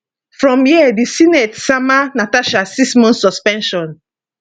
from here di senate sama natasha six months suspension